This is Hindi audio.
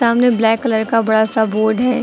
सामने ब्लैक कलर का बड़ा सा बोर्ड है।